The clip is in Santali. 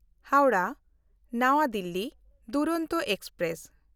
ᱦᱟᱣᱲᱟᱦ–ᱱᱟᱣᱟ ᱫᱤᱞᱞᱤ ᱫᱩᱨᱚᱱᱛᱚ ᱮᱠᱥᱯᱨᱮᱥ